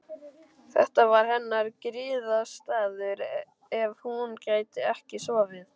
Þetta var hennar griðastaður ef hún gat ekki sofið.